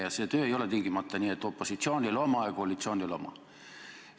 Ja see töö ei ole tingimata nii, et opositsioonil oma ja koalitsioonil oma.